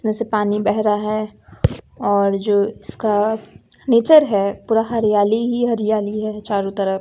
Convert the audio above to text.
नमे से जैसे पानी बह रहा है और जो इसका नेचर है पूरा हरियाली ही हरियाली है चारों तरफ।